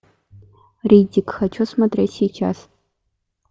риддик хочу смотреть сейчас